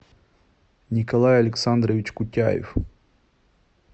николай александрович кутяев